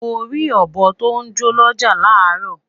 Mori obo to jọ n l'ọja laro